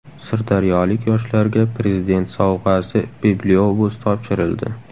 Sirdaryolik yoshlarga Prezident sovg‘asi bibliobus topshirildi.